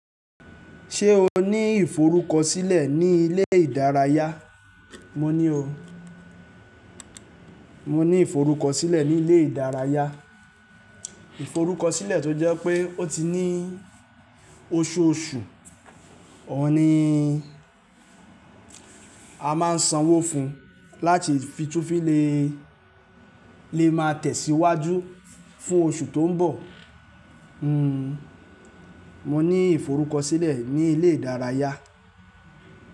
Ṣé o ní ìforúkọsílẹ̀ ní ilé ìdárayá? Mo ní o. Mo ní ìforúkọsílẹ̀ ní ilé ìdárayá. Ìforúkọsílẹ̀ tó jẹ́ pé ó ti ní oṣooṣù, òun ni a máa ń sanwó fún láti fi tún fílè lè máa tẹ̀síwájú fún oṣù tó ń bọ̀. Hmm, mo ní ìforúkọsílẹ̀ ní ilé ìdárayá.